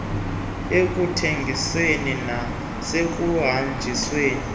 abanenxaxheba ekuthengisweni nasekuhanjisweni